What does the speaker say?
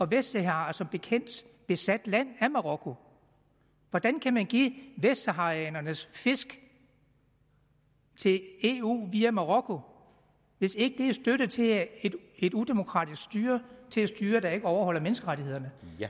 vestsahara er som bekendt besat land af marokko hvordan kan man give vestsaharanernes fisk til eu via marokko hvis ikke det er støtte til et udemokratisk styre til et styre der ikke overholder menneskerettighederne